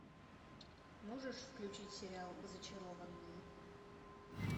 можешь включить сериал зачарованные